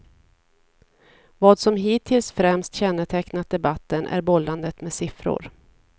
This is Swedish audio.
Vad som hittills främst kännetecknat debatten är bollandet med siffror.